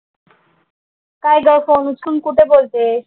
काय ग फोन उचलून कुठे बोलतेयस?